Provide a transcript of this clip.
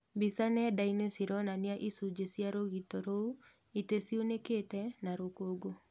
Mbica nenda-inĩ cironania icunjĩ cia rũgito rũu, itĩ ciunĩkĩte na rũkũngũ.